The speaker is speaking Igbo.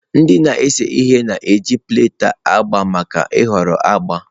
Ndị na-ese ihe na-eji palette agba maka nhọrọ agba.